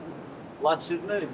Laçınlıyam.